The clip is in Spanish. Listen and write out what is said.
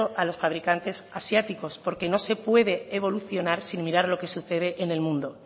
a los fabricantes asiáticos porque no se puede evolucionar sin mirar lo que se sucede en el mundo